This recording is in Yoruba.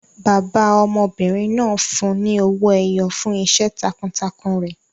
Bàbá ọmọbìnrin náà fún un ní owó ẹyọ fún iṣẹ́ takuntakun rẹ̀.